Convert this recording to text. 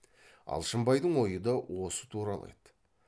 алшынбайдың ойы да осы туралы еді